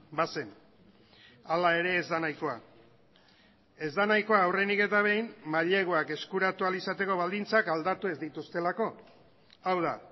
ba zen hala ere ez da nahikoa ez da nahikoa aurrenik eta behin maileguak eskuratu ahal izateko baldintzak aldatu ez dituztelako hau da